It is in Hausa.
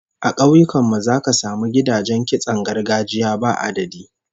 A kauyukan mu zaka samu gidajen kitson gargajiya ba adadi